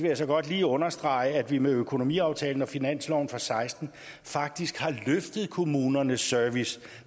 jeg så godt lige understrege at vi med økonomiaftalen og finansloven for ti seksten faktisk har løftet kommunernes service